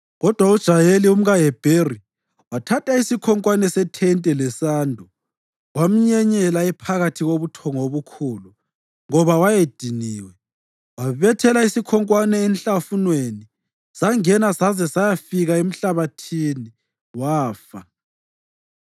Kodwa uJayeli, umkaHebheri, wathatha isikhonkwane sethente lesando, wamnyenyela ephakathi kobuthongo obukhulu, ngoba wayediniwe. Wabethela isikhonkwane enhlafunweni sangena saze sayafika emhlabathini, wafa.